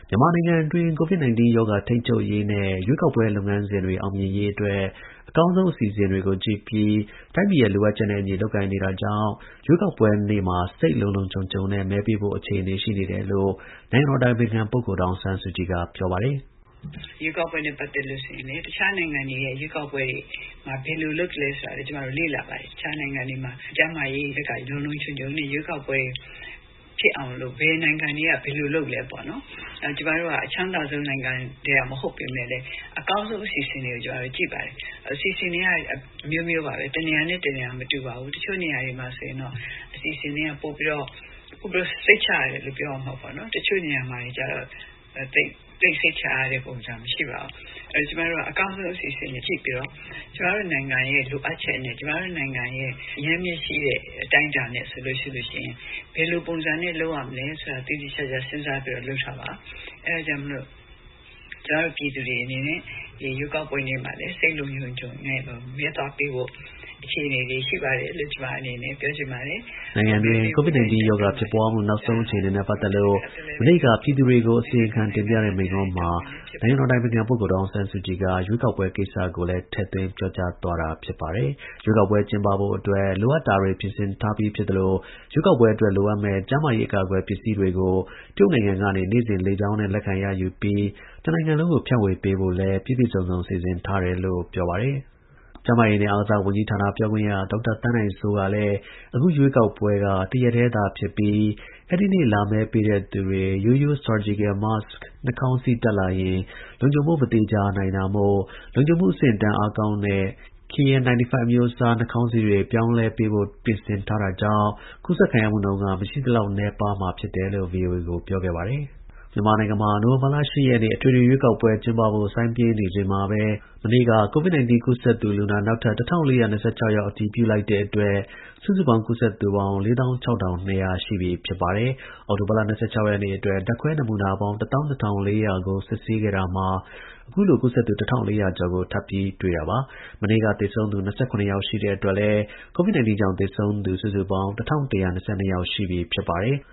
မြန်မာနိုင်ငံအတွင်း COVID 19 ရောဂါထိန်းချုပ်ရေးနဲ့ ရွေးကောက်ပွဲ လုပ်ငန်းစဉ်တွေ အောင်မြင်ရေးအတွက် အကောင်းဆုံး အစီအစဉ်တွေကို ကြည့်ပြီး တိုင်းပြည်ရဲ့ လိုအပ်ချက်နဲ့ အညီ လုပ်ကိုင်နေတာကြောင့် ရွေးကောက်ပွဲနေ့မှာ စိတ် လုံလုံခြုံခြုံနဲ့ မဲပေးဖို့ အခြေအနေ ရှိနေတယ်လို့ နိုင်ငံတော် အတိုင်ပင်ခံ ပုဂ္ဂိုလ် ဒေါ်အောင်ဆန်းစုကြည်က ပြောပါတယ်။ “ရွေးကောက်ပွဲနဲ့ ပတ်သက်ရင် တခြားနိုင်ငံတွေရဲ့ ရွေးကောက်ပွဲတွေမှာ ဘယ်လိုလုပ်သလဲဆိုတာလေ့လာထားပါတယ်။ တခြား နိုင်ငံတွေမှာ ကျန်းမာရေးဘက်ကလုံလုံခြုုံခြုံနဲ့ ရွေးကောက်ပွဲဖြစ်အောင် ဘယ်လိုလုပ်သလဲပေါ့။ ကျွန်မတို့က အချမ်းသာဆုံး နိုင်ငံက မဟုတ်ပေမဲ့လည်း အကောင်းဆုံးအစီအစဉ်တွေကို ကြည့်ပါတယ်။ အစီအစဉ်တွေက အမျိုးမျိုးပါပဲ။ တနေရာနဲ့ တနေရာမတူပါဘူး။ တချို့နေရာတွေမှာဆိုရင်အစီအစဉ်တွေကပိုပြီးစိတ်ချရတယ်လို့ ပြောရမှာပေါ့။ တချို့နေရာတွေကျတော့ သိပ် စိတ်ချရတဲ့ ပုံစံမရှိပါဘူး။ ကျွန်မတို့ကအကောင်းဆုံး အစီအစဉ်တွေကို ကြည့်ပြီး ကျွန်မတို့နိုင်ငံရဲ့ လိုအပ်ချက်နဲ့ ကျွန်မတို့နိုင်ငံရဲ့ အရင်းအမြစ်ရှိတဲ့ အတိုင်းအတာနဲ့ ဆိုရင် ဘယ်လို ပုံစံနဲ့လုပ်ရမလဲဆိုတာ သေသေချာချာ စဉ်းစားပြီးတော့လုပ်တာပါ။ ဒါကြောင့် ပြည်သူတွေအနေနဲ့ ရွေးကောက်ပွဲနေ့မှာ စိတ်လုံလုံခြုံခြုံနဲ့ မဲသွားပေးဖို့ အခြေအနေတွေရှိပါတယ်လို့ကျွန်မပြောချင်ပါတယ်။ မဲပေးဖို့လည်း တိုက်တွန်းပါတယ်။” နိုင်ငံတွင်း COVID – 19ရောဂါဖြစ်ပွါးမှု နောက်ဆုံးအခြေအနေနဲ့ ပတ်သက်လို့မနေ့က ပြည်သူတွေကို အစီရင်ခံ တင်ပြတဲ့ မိန့်ခွန်း မှာနိုင်ငံတော် အတိုင်ပင်ခံ ပုဂ္ဂိုလ် ဒေါ်အောင်ဆန်းစုကြည် ရွေးကောက်ပွဲကိစ္စကိုလည်း ထည့်သွင်း ပြောကြားသွားတာပါ။ ရွေးကောက်ပွဲကျင်းပဖို့ အတွက် လိုအပ်တာတွေပြင်ဆင်ထားပြီးဖြစ်သလို ရွေးကောက်ပွဲအတွက် လိုအပ်မယ့် ကျန်းမာရေး အကာ အကွယ် ပစ္စည်းတွေကိုတရုတ်နိုင်ငံကနေ နေ့စဉ်လေကြောင်းနဲ့ လက်ခံရယူပြီး တနိုင်ငံလုံးကို ဖြန့်ဝေပေးဖို့လည်း ပြည့်ပြည့်စုံစုံ စီစဉ်ထားတယ်လို့ ပြောပါတယ်။ကပ်ရောဂါနဲ့ပတ်သက်လို့ လိုက်နာဆောင်ရွက်ရမယ့် စည်းမျဉ်းတွေကို သိရှိ ရုံ သာမက အမှန် တကယ်လိုက်နာဆောင်ရွက်ဖို့ အရေးကြီးတယ်လို့လည်း ဒေါ်အောင်ဆန်းစုကြည်က တိုက်တွန်းပါတယ်။ မြန်မာနိုင်ငံမှာနိုဝင်္ဘာလ ၈ ရက်နေ့ အထွေထွေ ရွေးကောက်ပွဲ ကျင်းပဖို့ စိုင်းပြင်းနေချိန်မှာပဲ မနေ့က COVID – 19 ကူးစက်သူလူနာ နောက်ထပ် ၁,၄၂၆ ယောက် အတည်ပြုလိုက်တဲ့အတွက် စုစုပေါင်း ကူးစက် သူပေါင်း ၄၆,၂၀၀ ရှိပြီဖြစ်ပါတယ်။ အောက်တိုဘာလ ၂၆ ရက်နေ့ အတွက် ဓာတ်ခွဲ နမူနာပေါင်း ၁၂,၄၀၀ ခုကို စစ်ဆေးခဲ့တာမှာ အခု လိုကူးစက်သူ ၁,၄၀၀ ကျော်ကို ထပ်ပြီးတွေ့တာပါ။ မနေ့က သေဆုံးသူ ၂၇ ယောက်ရှိတဲ့အတွက် COVID – 19ကြောင့် သေဆုံး သူ ပေါင်း ၁,၁၂၂ ယောက်ရှိပြီဖြစ်ပါတယ်။